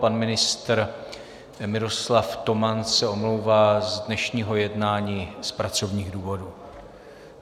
Pan ministr Miroslav Toman se omlouvá z dnešního jednání z pracovních důvodů.